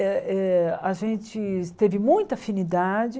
Eh eh a gente teve muita afinidade.